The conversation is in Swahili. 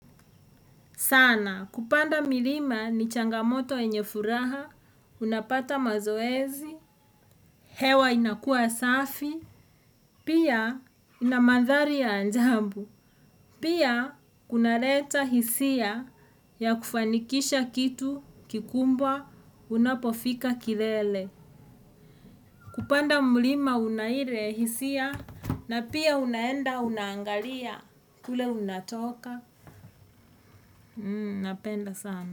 Sana, kupanda milima ni changamoto yenye furaha, unapata mazoezi, hewa inakua safi, pia inamandhali ya anjambu. Pia, kunaleta hisia ya kufanikisha kitu kikumbwa, unapofika kilele. Kupanda milima unahire hisia na pia unaenda unangalia kule unatoka. Napenda sana.